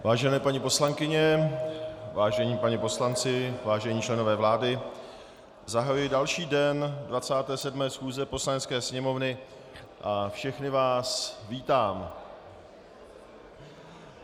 Vážené paní poslankyně, vážení páni poslanci, vážení členové vlády, zahajuji další den 27. schůze Poslanecké sněmovny a všechny vás vítám.